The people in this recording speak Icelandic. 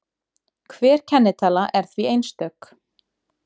Hver kennitala er því einstök.